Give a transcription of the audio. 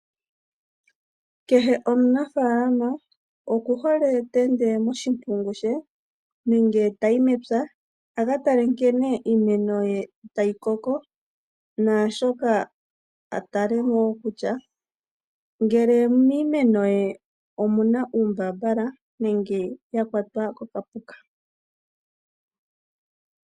Kehe omunafaalama okuhole okweenda moshimpungu she nenge tayi mepya akatale nkene iimeno ye tayi koko, naashoka atale woo kutya ngele miimeno ye omuna uumbambala nenge yakwatwa kokapuka.